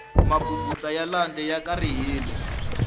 mabubutsa ya lwandle ya karihile